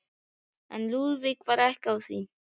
En Lúðvík var ekki á því.